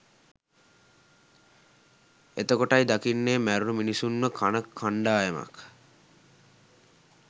එතකොටයි දකින්නේ මැරුණ මිනිස්සුන්ව කන කණ්ඩායමක්